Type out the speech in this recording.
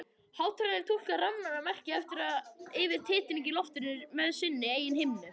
Hátalarinn túlkar rafræna merkið aftur yfir í titring í loftinu með sinni eigin himnu.